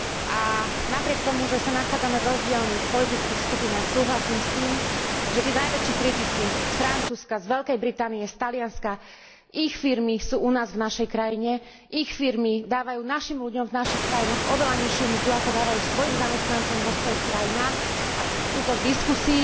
A napriek tomu, že sa nachádzame v rozdielnych politických skupinách, súhlasím s tým, že tí najväčší kritici z Francúzska, z Veľkej Británie, z Talianska, ich firmy sú u nás v našej krajine, ich firmy dávajú našim ľuďom v našich krajinách oveľa nižšiu mzdu, ako dávajú svojim zamestnancom vo svojich krajinách, a tu v diskusii